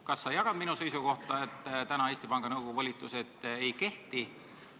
Kas sa jagad minu seisukohta, et Eesti Panga Nõukogu volitused ei kehti?